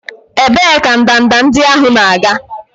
Ebee ka ndanda ndị ahụ na-aga?